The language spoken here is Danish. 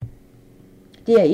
DR1